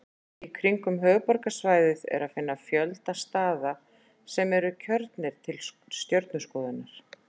Í kringum höfuðborgarsvæðið er að finna fjölda staða sem eru kjörnir til stjörnuskoðunar.